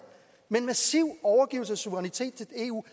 men massiv overgivelse af suverænitet til eu